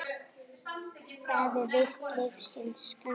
Það er víst lífsins gangur.